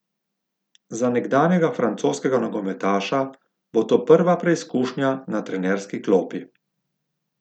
Za nekdanjega francoskega nogometaša bo to prva preizkušnja na trenerski klopi.